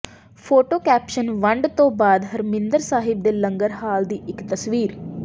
photo caption ਵੰਡ ਤੋਂ ਬਾਅਦ ਹਰਮਿੰਦਰ ਸਾਹਿਬ ਦੇ ਲੰਗਰ ਹਾਲ ਦੀ ਇੱਕ ਤਸਵੀਰ